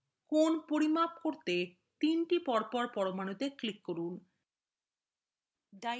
কোণ পরিমাপ করতে 3 to পরপর পরমাণুতে click করুন